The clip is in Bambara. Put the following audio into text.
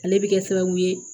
Ale bɛ kɛ sababu ye